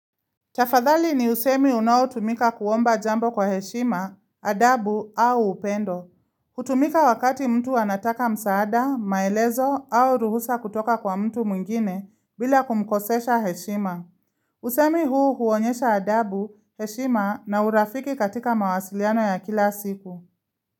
Tafadhali ni usemi unaotumika kuomba jambo kwa heshima, adabu au upendo. Hutumika wakati mtu anataka msaada, maelezo au ruhusa kutoka kwa mtu mwengine bila kumkosesha heshima. Usemi huu huonyesha adabu, heshima na urafiki katika mawasiliano ya kila siku.